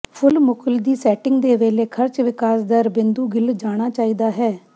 ਫੁੱਲ ਮੁਕੁਲ ਦੀ ਸੈਟਿੰਗ ਦੇ ਵੇਲੇ ਖਰਚ ਵਿਕਾਸ ਦਰ ਬਿੰਦੂ ਗਿੱਲ ਜਾਣਾ ਚਾਹੀਦਾ ਹੈ